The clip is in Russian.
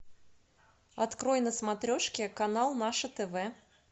открой на смотрешке канал наше тв